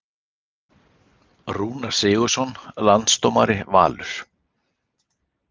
Rúnar Sigurðsson Landsdómari Valur